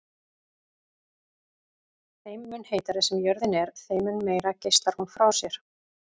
Þeim mun heitari sem jörðin er þeim mun meira geislar hún frá sér.